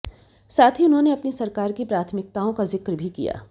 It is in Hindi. साथ ही उन्होंने अपनी सरकार की प्राथमिकताओं का जिक्र भी किया